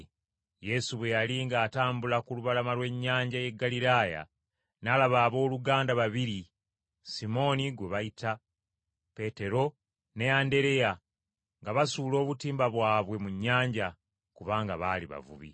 Yesu bwe yali ng’atambula ku lubalama lw’ennyanja y’e Ggaliraaya n’alaba abooluganda babiri: Simooni, gwe bayita Peetero, ne Andereya, nga basuula obutimba bwabwe mu nnyanja, kubanga baali bavubi.